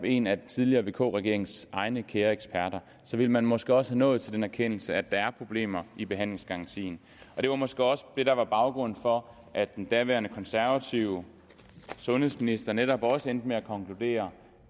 en af den tidligere vk regerings egne kære eksperter ville man måske også være nået til den erkendelse at der er problemer med behandlingsgarantien det var måske også det der var baggrunden for at den daværende konservative sundhedsminister netop også endte med at konkludere